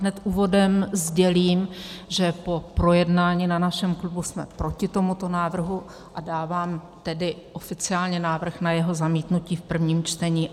Hned úvodem sdělím, že po projednání na našem klubu jsme proti tomuto návrhu, a dávám tedy oficiálně návrh na jeho zamítnutí v prvním čtení.